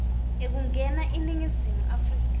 ekungena eningizimu afrika